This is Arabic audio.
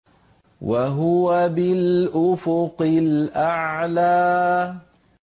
وَهُوَ بِالْأُفُقِ الْأَعْلَىٰ